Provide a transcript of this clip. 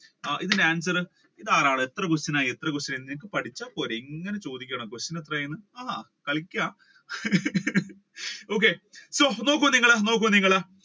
ഇതിന്റെ answer ഒരാൾ എത്ര question ആയി question ആയി ഇത് പഠിച്ച പോരെ ഇങ്ങനെ ചോദിക്കണ question എത്ര ആയി എന്ന് ആണോ കളിക്ക നോക്കൂ നിങ്ങൾ